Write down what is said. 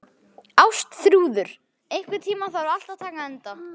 Ástþrúður, einhvern tímann þarf allt að taka enda.